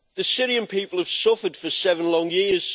The Syrian people have suffered for seven long years.